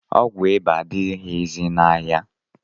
Ọgwụ iba adịghịzi n'ahịa